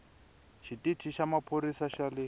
xitichi xa maphorisa xa le